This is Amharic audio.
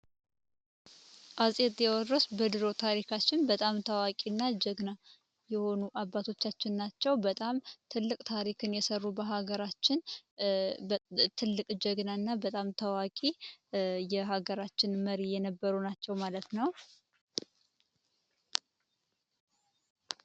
አጼ ቲወድሮስ በድሮ ታሪካችን በጣም ታዋቂ እና ጀግና የሆኑ አባቶቻችን ናቸው። በጣም ትልቅ ታሪክን የሰሩ በሃገራችን ትልቅ ጀግና እና በጣም ታዋቂ የሃገራችን መሪ የነበሩ ናቸው ማለት ነው።